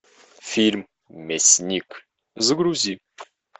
фильм мясник загрузи